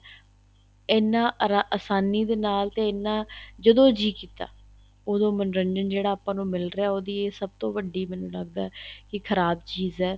ਇਹਨਾ ਆਸਨੀ ਦੇ ਨਾਲ ਇਹਨਾ ਜਦੋਂ ਜੀਅ ਕੀਤਾ ਉਹਦੋ ਮੰਨੋਰੰਜਨ ਜਿਹੜਾ ਆਪਾਂ ਨੂੰ ਮਿਲ ਰਿਹਾ ਉਹਦੀ ਇਹ ਸਭ ਤੋ ਵੱਡੀ ਮੈਨੂੰ ਲੱਗਦਾ ਏ ਕੀ ਖ਼ਰਾਬ ਚੀਜ਼ ਏ